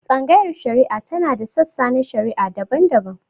Tsangayar shari'a tana da sassa na shari'a daban-daban.